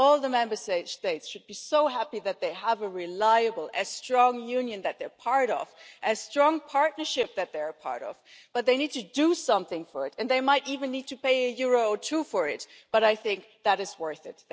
All the Member States should be so happy that they have a reliable and strong Union that they are part of and a strong partnership that they are part of, but they need to do something for it and they might even need to pay euro or two for it, but I think it is worth it.